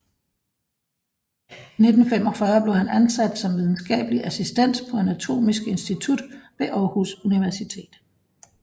I 1945 blev han ansat som videnskabelig assistent på Anatomisk Institut ved Aarhus Universitet